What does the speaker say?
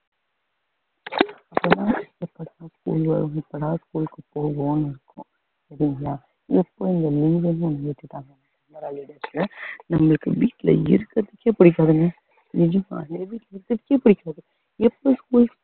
அப்பதான் எப்படா school வரும் எப்படா school க்கு போவோம்னு இருக்கும் சரிங்களா எப்போ நம்மளுக்கு வீட்டுல இருக்குறதுக்கே புடிக்காதுங்க எப்ப school